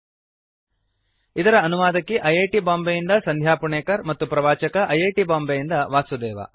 httpspoken tutorialorgNMEICT Intro ಇದರ ಅನುವಾದಕಿ I I T Bombay ಯಿಂದ ಸಂಧ್ಯಾ ಪುಣೇಕರ್ ಮತ್ತು ಪ್ರವಾಚಕ ಐ ಐ ಟಿ ಬಾಂಬೆಯಿಂದ ವಾಸುದೇವ